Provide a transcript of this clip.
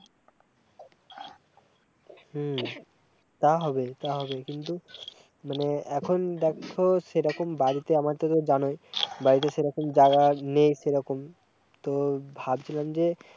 হম তা হবে-তা হবে কিন্তু, মানে, এখন দে-ক-খো সেইরকম বাড়িতে আমাদের জানই বাড়িতে সেইরকম জায়েগা নেই সেইরকম, তো ভাবছিলাম যে-